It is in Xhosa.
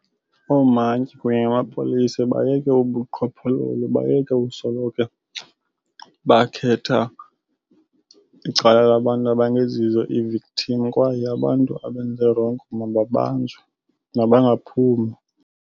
Oomantyi kunye namapolisa bayeke ubuqhophololo, bayeke usoloko bakhetha icala labantu abangezizo ii-victim kwaye abantu abenze rongo mababanjwe, mabangaphumi.